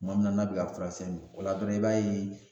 Kuma min na n'a bɛ ka furasɛnni o la dɔrɔn i b'a ye